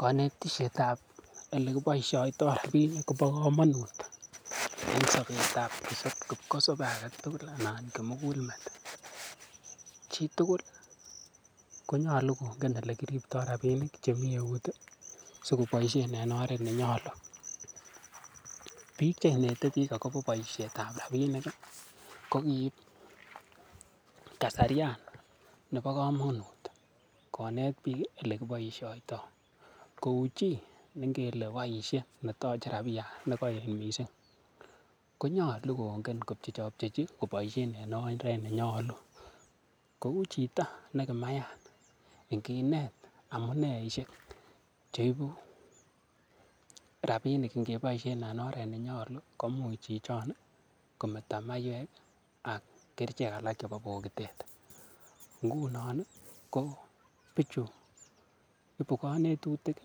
Konetishetab ole kiboishoito rabinik ko bo komonut, en sobet ab kipkosobe age tuguk anan kimgul met. Chitugul konyolu kongen ole kiripto rabinik chemi eut sikoboisien en oret ne nyolu. Biik che inete biik agobo boisietab rabinik kogiib kasaryan nebo komonut konet biik ole kiboisioto. Kou chi ne ngele boisie, ne toche rabiyan ne kooet mising konyolu kongen kopcheopcheji en oret nenyolu. Kou chito ne kimayat iinginte amuneeishek, cheibu rabinik ingeboisiien en oret ne nyolu, koimuch chichon kometo maiywek ak kerichek alak chebo bogitet. Ngunon ko bichu ibu konetutik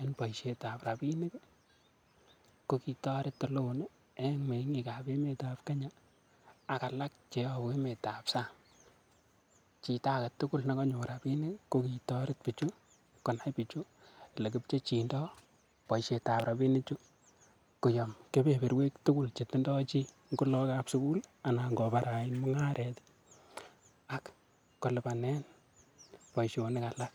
en boisietab rabinik ko kitoret ole o en meng'ik ab emetab kenya ak alak che yobu emetab sang chito age tugul nekonyor rabinik kokitoret bichu konai bichu ele kipchechindo boisietab rabinichu koyom kebeberwek tugul che tindo chi; ngo logokab sugul anan kobarait mungaret ak kolipanen boisionik alak.